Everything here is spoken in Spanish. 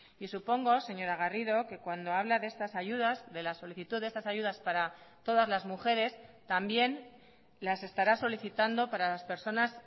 y supongo señora garrido que cuando habla de estas ayudas de la solicitud de estas ayudas para todas las mujeres también las estará solicitando para las personas